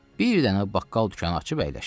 Bir dənə baqqal dükanı açıb əyləşir.